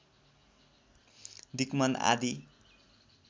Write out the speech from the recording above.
दिक् मन आदि